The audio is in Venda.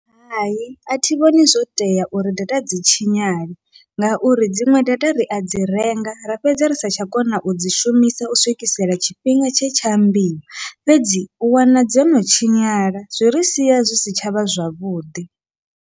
Hai athi vhoni zwo tea uri data dzi tshinyale, ngauri dziṅwe data ria dzi renga ra fhedza ri satsha kona udzi shumisa u swikisela tshifhinga tshe tsha ambiwa, fhedzi u wana dzo no tshinyala zwi ri sia zwi si tshavha zwavhuḓi.